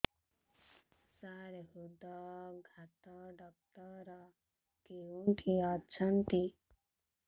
ସାର ହୃଦଘାତ ଡକ୍ଟର କେଉଁଠି ଅଛନ୍ତି